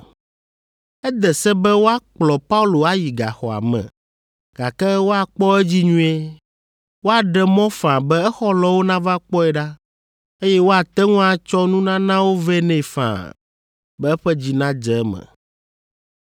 Ede se be woakplɔ Paulo ayi gaxɔa me, gake woakpɔ edzi nyuie. Woaɖe mɔ faa be exɔlɔ̃wo nava kpɔe ɖa, eye woate ŋu atsɔ nunanawo vɛ nɛ faa, be eƒe dzi nadze eme.